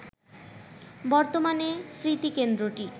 বর্তমানে স্মৃতিকেন্দ্রটি